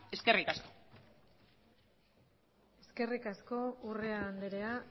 eskerrik asko eskerrik asko urrea andrea